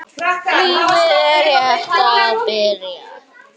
Lífið er rétt að byrja.